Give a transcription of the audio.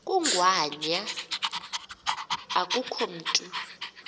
kangwanya akukho mntu